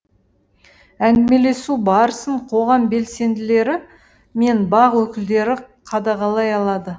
әңгімелесу барысын қоғам белсенділері мен бақ өкілдері қадағалай алады